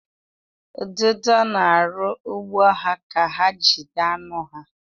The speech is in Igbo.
Ududo na-arụ ụgbụ ha ka ha jide anụ ha.